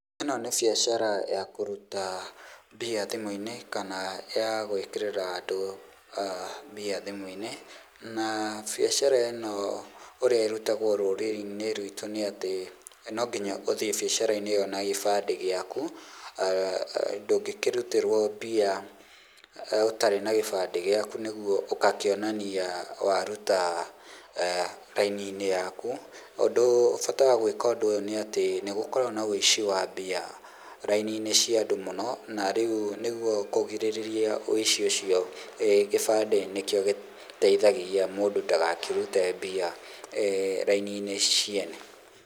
Ĩno nĩ biacara ya kũruta mbia thimũ-inĩ kana ya gũĩkĩrĩra andũ mbia thimu-inĩ. Na biacara ĩ no ũrĩa ĩrutagwo rũrĩrĩ-inĩ rwitũ nĩ atĩ no nginya ũthiĩ biacara-inĩ ĩ yo na gĩbandĩ gĩaku, ndũngĩkirutĩrwo mbia ũtarĩ na gĩbandĩ gĩaku ũgakĩonania waruta raini-inĩ yaku, bata wa gũĩka ũndũ ũyũ nĩ atĩ nĩ gũkoragwo na wĩici wa mbia raini-inĩ cia andũ mũno na rĩu nĩguo kũgirĩrĩria wĩici ũcio gĩbandĩ nĩkĩo gĩteithagia mũndũ ndagakĩrute mbia raini-inĩ ciene.